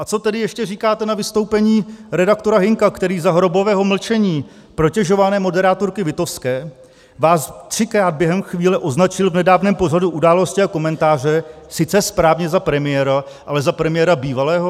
A co tedy ještě říkáte na vystoupení redaktora Hynka, který za hrobového mlčení protežované moderátorky Witowské vás třikrát během chvíle označil v nedávném pořadu Události a komentáře sice správně za premiéra, ale za premiéra bývalého?